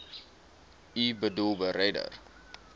u boedel beredder